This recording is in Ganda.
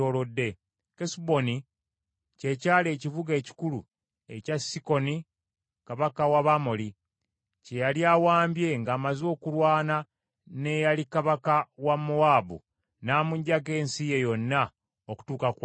Kesuboni kye kyali ekibuga ekikulu ekya Sikoni Kabaka w’Abamoli kye yali awambye ng’amaze okulwana n’eyali kabaka wa Mowaabu n’amuggyako ensi ye yonna okutuuka ku Alunoni.